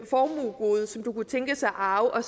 formuegode som du kunne tænkes at arve og